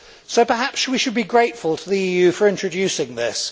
So perhaps we should be grateful to the EU for introducing this.